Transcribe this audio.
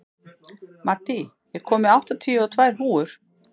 Maddý, ég kom með áttatíu og tvær húfur!